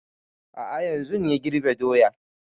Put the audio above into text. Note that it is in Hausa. A'a yanzun ya girbe doyan